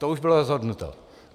To už bylo rozhodnuto.